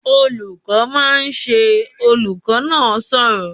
"Olùkọ́ máa ṣe!", olùkọ́ náà sọ̀rọ̀